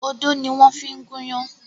Odó ni wọ́n ń fi gúnyán.